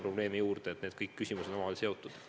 Kõik need küsimused on omavahel seotud.